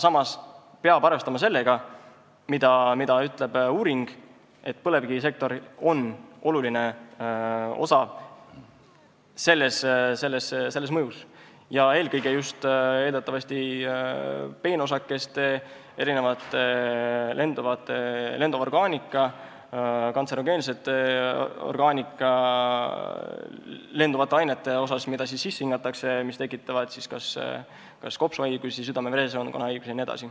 Samas peab arvestama sellega, mida ütleb uuring, et põlevkivisektoril on selles oluline osa, eelkõige eeldatavasti just peenosakeste, lenduva orgaanika, kantserogeensete lenduvate ainete tõttu, mida sisse hingatakse ja mis tekitavad kopsuhaigusi, südame-veresoonkonnahaigusi jne.